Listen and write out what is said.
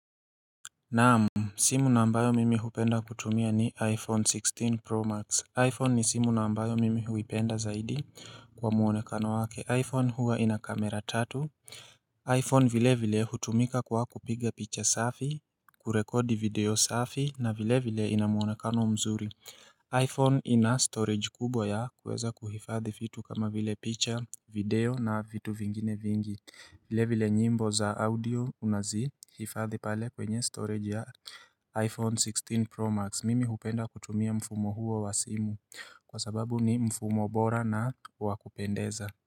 Naam. Simu ambayo mimi hupenda kutumia ni iPhone 16 Pro Max. iPhone ni simu ambayo mimi huipenda zaidi kwa muonekano wake. iPhone huwa ina kamera tatu. iPhone vile vile hutumika kwa kupiga picha safi, kurekodi video safi na vile vile inamuonekano mzuri. iPhone ina storage kubwa ya kuweza kuhifadhi vitu kama vile picha video na vitu vingine vingi. Vile vile nyimbo za audio unazi hifadhi pale kwenye storage ya iPhone 16 Pro Max. Mimi hupenda kutumia mfumo huo wa simu kwa sababu ni mfumo bora na wakupendeza.